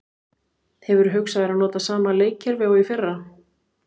Hefurðu hugsað þér að nota sama leikkerfi og í fyrra?